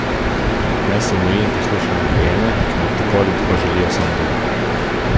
Naj se umiri in posluša nadrejene, ki mu tako ali tako želijo samo dobro.